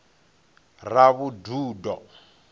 ravhududo